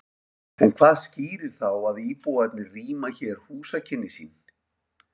En hvað skýrir þá að íbúarnir rýma hér húsakynni sín?